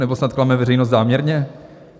Nebo snad klame veřejnost záměrně?